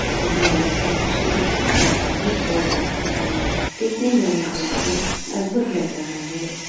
इन्हो मे से कुछ ने छाता भी ओढ़ रखा है | देखने में यह दृश्य अद्भुत लग रहा है।